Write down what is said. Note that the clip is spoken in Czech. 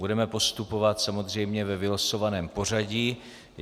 Budeme postupovat samozřejmě ve vylosovaném pořadí.